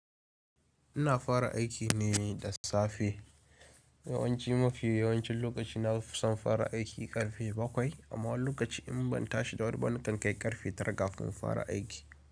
Ina fara aiki ne da safe. Yawanci mafi yawancin lokaci na fi son fara aiki ƙarfe bakwai amma wani lokaci in ban tashi da wuri ba na kan kai ƙarfe tara kafin fara aiki.